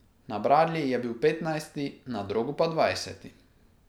Na bradlji je bil petnajsti, na drogu pa dvajseti.